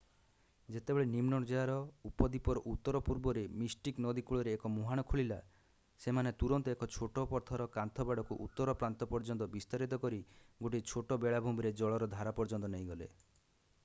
ଯେତେବେଳେ ନିମ୍ନ ଜୁଆର ଉପଦ୍ଵିପର ଉତ୍ତର-ପୂର୍ବରେ ମିଷ୍ଟିକ୍ ନଦୀ କୂଳରେ ଏକ ମୁହାଣ ଖୋଲିଲା ସେମାନେ ତୁରନ୍ତ ଏକ ଛୋଟ ପଥର କାନ୍ଥ ବାଡ଼କୁ ଉତ୍ତର ପ୍ରାନ୍ତ ପର୍ଯ୍ୟନ୍ତ ବିସ୍ତାରିତ କରି ଗୋଟିଏ ଛୋଟ ବେଳାଭୂମିରେ ଜଳର ଧାର ପର୍ଯ୍ୟନ୍ତ ନେଇଗଲେ